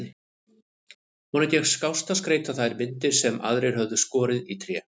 Honum gekk skást að skreyta þær myndir sem aðrir höfðu skorið í tré.